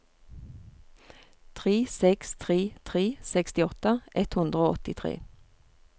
tre seks tre tre sekstiåtte ett hundre og åttitre